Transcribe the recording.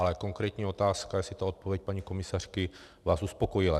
Ale konkrétní otázka, jestli ta odpověď paní komisařky vás uspokojila?